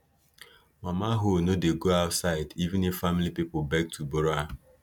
mama hoe no dey go outside even if family people beg to borrow am